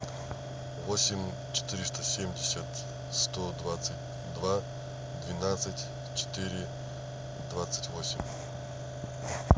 восемь четыреста семьдесят сто двадцать два двенадцать четыре двадцать восемь